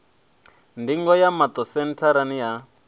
ndingo ya maṱo sentharani ya